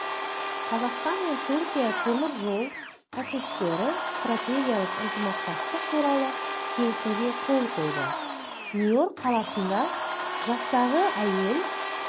қазақстан мен түркия темір жол әкімшіліктері стратегиялық ынтымақтастық туралы келісімге қол қойды нью-йорк қаласында жастағы әйел